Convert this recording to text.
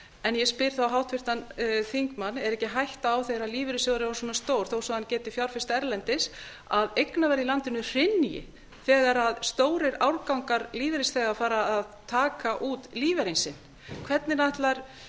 en ég spyr þá háttvirtan þingmann er ekki hætta á þegar lífeyrissjóður er orðinn svona stór þó svo að hann geti fjárfest erlendis að eignaverð í landinu hrynji þegar stórir árgangar lífeyrisþega fara að taka út lífeyrinn sinn hvernig ætlar